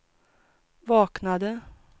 vaknade